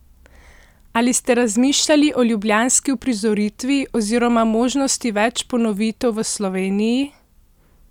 Ali ste razmišljali o ljubljanski uprizoritvi oziroma možnosti več ponovitev v Sloveniji?